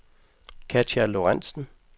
Katja Lorentsen